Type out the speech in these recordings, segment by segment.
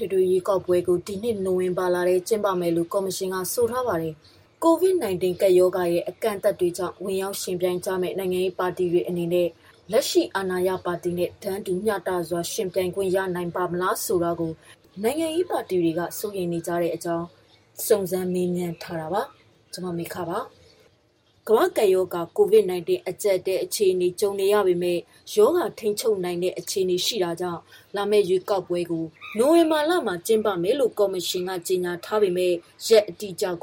ွေထွေရွေးကောက်ပွဲကို ဒီနှစ်နိုဝင်ဘာလထဲ ကျင်းပမယ်လို့ ကော်မရှင်ကဆိုထားပါတယ်။ COVID-19 ကပ်ရောဂါရဲ့အကန့်အသတ်တွေကြောင့် ဝင်ယှဉ်ပြိုင်ကြမယ့် နိုင်ငံရေးပါတီတွေအနေနဲ့ လက်ရှိ အာဏာရပါတီ နဲ့ တန်းတူ မျှတစွာ ယှဉ်ပြိုင်ခွင့်ရပါ့မလားဆိုတာကို့ နိုင်ငံရေးပါတီအချို့က စိုးရိမ်နေပါတယ်။ ဒီသတင်းကို မ မေခ စုံစမ်းမေးမြန်းတင်ပြထားတာပါ။ ကမ္ဘာ့ကပ်ရောဂါ COVID-19 အကြပ်အတည်း အခြေအနေကြုံနေရပေမယ့် ရောဂါထိန်းချုပ်နိုင်တဲ့ အခြေအေနရှိတာကြောင့် လာမယ့်ရွေးကောက် ပွဲကို နိုဝင်ဘာမှာကျင်းပမယ်လို့ကော်မရှင်ကတော့ကြေညာ ထားပြီး ရက်အတိကျ မ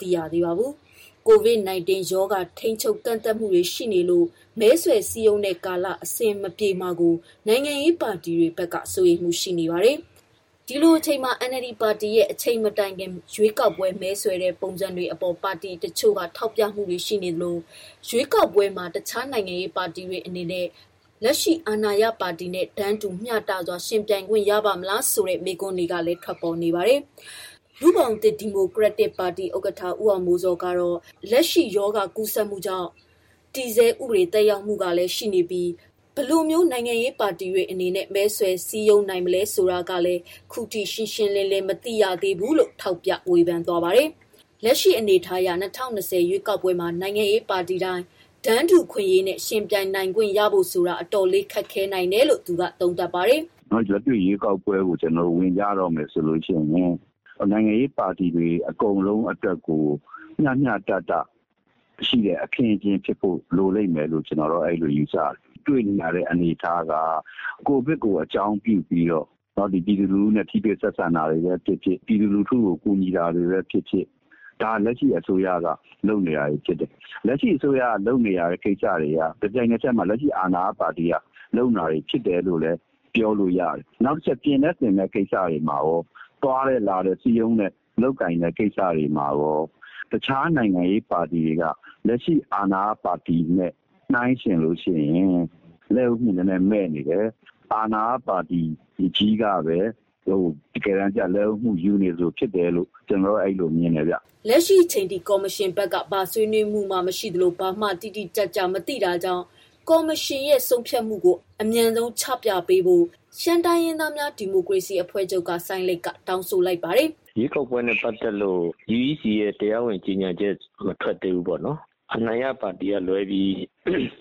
သိရသေးပါဘူး။ COVID-19 ရောဂါထိန်းချုပ်၊ ကန့်သတ်မှုတွေရှိနေလို့ မဲဆွယ်စည်းရုံးတဲ့ကာလ အဆင်မပြေမှာကို နိုင်ငံရေးပါတီတွေ ဘက်က စိုးရိမ်မှုရှိပါတယ်။ ဒီလိုအချိန်မှာ NLD ပါတီရဲ့ အချိန်မတိုင်ခင် ရွေးကောက်ပွဲ မဲဆွယ်တဲ့ပုံစံတွေအပေါ်ပါတီတချို့က ထောက်ပြမှုတွေ ရှိနေသလို ဒီရွေးကောက်ပွဲမှာတခြား နိုင်ငံရေးပါတီတွေအနေနဲ့ လက်ရှိအာဏာရပါတီနဲ့ တန်းတူ မျှတစွာ ယှဉ်ပြိုင်ခွင့်ရပါ့မလားဆိုတဲ့ မေးခွန်းတွေ လည်းထွက်ပေါ်နေပါတယ်။ လူ့ဘောင့်သစ် ဒီမိုကရက်တစ်ပါတီ ဥကဌ ဦးအောင်မိုးဇော်က လက်ရှိ ရောဂါကြောင့် တည်ဆဲ ဥပဒေ သက်ရောက်မှု ကလည်းရှိနေပြီး ဘယ်လို နိုင်ငံရေးပါတီတွေ မဲဆွယ်နိုင်မယ်ဆိုတာက လည်းခုထိ ရှင်းလင်းစွာ မသိရသေးပါဘူး။ လက်ရှိ အနေအထားအရ ၂၀၂၀ ရွေးကောက်ပွဲမှာ နိုင်ငံရေးပါတီတိုင်း တန်း တူခွင့်ရေးနဲ့ ယှဉ်ပြိုင်နိုင်ခွင့်ရဖို့ဆိုတာ အတော်ခက်ခဲနိုင်တယ်လို့ သူကသုံးသပ်ပါတယ်။ “ လက်တွေ့ ရွေးကောက်ပွဲကို ကျနော်တို့ ဝင်တော့မယ်ဆိုရင် နိုင်ငံရေးပါတီတွေ အကုန်လုံးအတွက် မျှျမျှတတ ဖြစ်တဲ့ အခင်းအကျင်းရှိဖို့လိုမယ်လို့ ကျနော်ကတော့ အဲလိုယူဆတယ်။လက်တွေ့တွေ့နေရတာက ကိုဗစ်ကို အကြောင်းပြုပြီး ပြည်သူလူထုကိုထိတွေ့တာ၊ ပြည်သူလူထုကို ကူညီနေတာဖြစ်ဖြစ် လက်ရှိအစိုးရ လုပ်ဆောင်နေတာဖြစ်တယ်။ လက်ရှိအစိုးရလုပ်ဆောင်နေတာက တပြိုင်နက်ထဲမှာ လက်ရှိအာဏာရပါတီအနေနဲ့ လုပ်နေတယ်တာလို့ပြောလို့ရတယ်။ နောက်ပြီး ပြင်တဲ့ ဆင်တဲ့ ကိစ္စမှာရော သွားတဲ့လာတဲ့ ကိစ္စတွေမှာရောတခြားနိုင်ငံရေးပါတီတွေက လက်ရှိအာဏာရပါတီနဲ့ နှိုင်းယှဉ်ရင် လက်ဦးမှု နည်းနည်း မဲ့နေတယ်။ အာဏာရပါတီကြီးကဘဲ လက်ဦးမှုယူနေသလို ဖြစ်တယ်လို့ ကျနော်တော့မြင်တယ်” လက်ရှိချိန်ထိ ကော်မရှင်ဘက်က ဘာဆွေးနွေးမှုမှမရှိသလို ဘာမှ တိတိကျကျ မသိတာကြောင့် ကော်မရှင်ဘက်က ဆုံးဖြတ်မှုကို အမြန်ဆုံးချပြပေးဖို့ ရှမ်းတိုင်းရင်းသားများ ဒီမိုကရေစီအဖွဲ့ချုပ်က စိုင်းလိတ်ကတောင်းဆိုလိုက်ပြီး လာမယ့်ရွေးကောက်ပွဲအပေါ် သူကခုလို သုံးသပ်ပါတယ်။ “ ရွေးကောက်ပွဲနဲ့ပတ်သတ်လို့ UEC တရားဝင် ကြေညာချက်မထွက် သေးဘူးပေါ့နော် ၊ အနိုင်ရပါတီကလွဲပြီး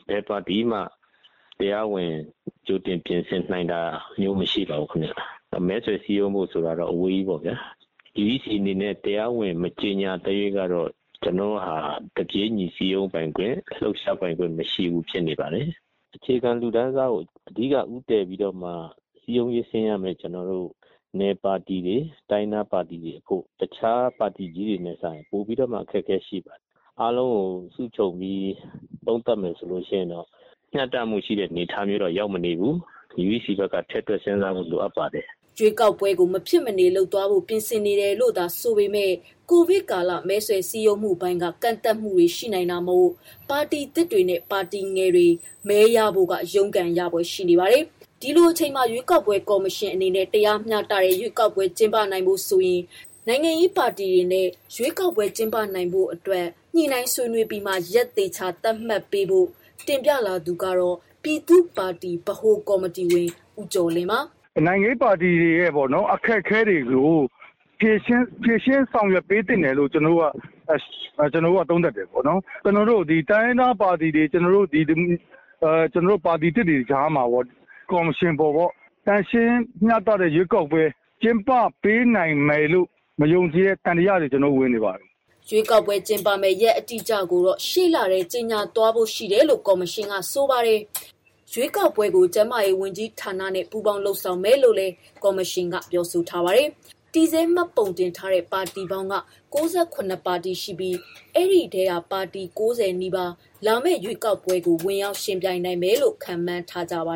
ဘယ်ပါတီမှ တရားဝင် ကြိုတင်ပြင်နိုင်တာမရှိပါဘူး။ မဲဆွယ်စည်းရုံးတယ်ဆိုတာ အဝေးကြီးပေါ့ဗျာ။ UECအနေနဲ့ တရားဝင် မကြေညာသရွေ့ကတော့ ကျနော်တို့ဟာ တပြေးညီ စည်းရုံးပိုင်ခွင့်၊ လှုပ်ရှားပိုင်ခွင့် မရှိဘူးဖြစ်နေပါတယ်။ အခြေခံလူတန်းစားကို အဓိက ဦးတည်ပြီးတော့စည်းရုံးဆင်းရမယ့် နယ်ပါတီတွေ တိုင်းရင်းသားပါတီတွေ အကုန်လုံး အနေနဲ့က တခြားပါတီကြီးတွေထက်စာရင်ပိုပြီးတော့ အခက်အခဲရှိပါတယ်။ အားလုံးကို ခြုံပြီးသုံးသပ်မယ်ဆိုရင် မျှတမှု ရှိတဲ့ အနေအထားတော့ ရောက်မနေဘူး ၊ UEC ဘက်က ထည့်တွက် စဉ်းစားဖို့ လိုအပ်ပါတယ်။” ရွေးကောက်ပွဲကို မဖြစ်မနေ လုပ်သွားဖို့ ပြင်ဆင်နေတယ်လို့သာဆိုပေမယ့် ကိုဗစ်ကာလ မဲဆွယ်စည်းရုံးမှုပိုင်းက ကန့်သတ်မှုတွေ ရှိလာနိုင်တာမို့ ပါတီသစ်တွေနဲ့ ပါတီငယ်တွေ မဲရရှိဖို့က ရုန်း ကန် ရဖွယ်ရှိပါတယ်။ ဒီလိုအချိန်မှာ ရွေးကောက်ပွဲကော်မရှင်ဘက်အနေနဲ့ တရားမျှတတဲ့ ရွေးကောက်ပွဲကျင်းပနိုင်ဖို့ နိုင်ငံရေးပါတီတွေနဲ့ ရွေးကောက်ပွဲ ကျင်းပနိုင်ရေး ညှိုနှိုင်း ပြီးမှ ရက်သတ်မှတ်ဖို့ တင်ပြလာသူက ပြည်သူ့ပါတီ ဗဟို ကော်မတီဝင် ဦးကျော်လင်းပါ။ “ နိုင်ငံရေးပါတီတွေရဲ့ အခက်အခဲတွေကို ဖြေရှင်းပေးသင့်တယ် လို့ ကျနော်တို့ သုံးသပ်ပါတယ်။ ကျနော်တို့ တိုင်းရင်းသားပါတီတွေ၊ ပါတီ သစ်တွေ ကြားမှာရော ကော်မရှင်အပေါ် သန့်ရှင်း တရားမျှတတဲ့ ရွေးကောက်ပွဲ ကျင်းပပေးနိုင်မယ်လို့ မယုံကြည်တဲ့ သံသယတွေ ကျနော်တို့ ဝင်နေပါတယ်။” ရွေးကောက်ပွဲကျင်းပမယ့် ရက်အတိအကျကိုတော့ ရှေ့လထဲ ကြေညာဖို့ရှိတယ်လို့ ကော်မရှင်က ဆိုပါတယ်။ ရွေးကောက်ပွဲကို ကျန်းမာရေးဝန်ကြီးဌာနနဲ့ ပူးပေါင်း လုပ်ဆောင်မယ်လို့လည်း ကော်မရှင်က ပြောဆိုထားပြီး တည်ဆဲမှတ်ပုံ တင်ထားတဲ့ပါတီက ၉၇ ပါတီရှိပြီး ဒီထဲက ပါတီ ၉၀ နီးပါး လာမယ့်ရွေးကောက်ပွဲကို ဝင်ပြိုင်မယ်လို့ ခန့်မှန်းထားကြပါ